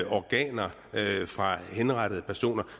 organer fra henrettede personer